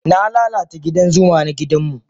Na lalata gidan zuma na gidanmu.